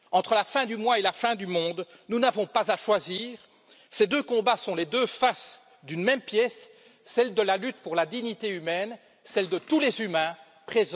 Entre la fin du mois et la fin du monde, nous n'avons pas à choisir, ces deux combats sont les deux faces d'une même pièce, celle de la lutte pour la dignité humaine, celle de tous les humains présents et à venir.